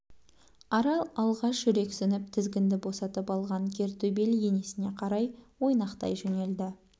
арал алғаш жүрексініп тізгінді босатып алған кер төбел енесіне қарай ойнақтай жөнелді